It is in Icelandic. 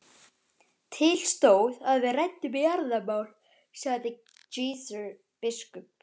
Til stóð að við ræddum jarðamál, sagði Gizur biskup.